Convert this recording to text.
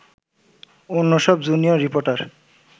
অন্যসব junior reporter